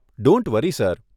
don't worry sir